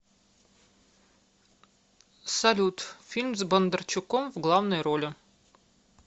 салют фильм с бондарчуком в главной роли